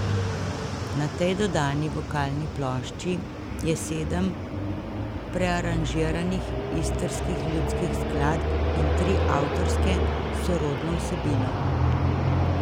Na tej dodani vokalni plošči je sedem prearanžiranih istrskih ljudskih skladb in tri avtorske s sorodno vsebino.